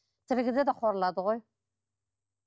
тірі кезде де қорлады ғой